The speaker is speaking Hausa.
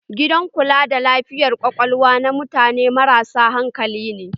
Gidan kula da lafiyar Ƙwaƙwalwa na mutane marasa hankali ne.